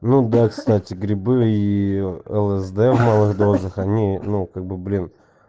ну да кстати грибы и лсд в малых дозах они ну как бы блин